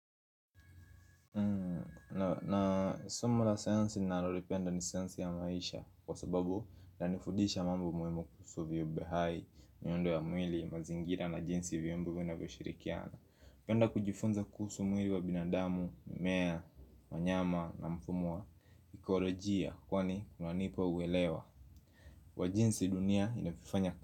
Na somo la sayansi ninalolipenda ni sayansi ya maisha kwa sababu inanifudisha mambo muhimu kuhusu viubehai, miundo ya mwili, mazingira na jinsi viumbe vinavyo shirikiana napenda kujifunza kuhusu mwili wa binadamu, mmea, wanyama na mfumo wa kolojia kwani unanipa uwelewa wa jinsi dunia inafanya.